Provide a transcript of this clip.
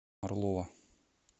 орлова